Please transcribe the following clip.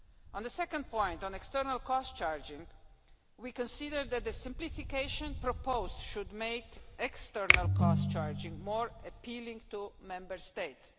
On the second point on external cost charging we consider that the simplification proposed should make external cost charging more appealing to Member States.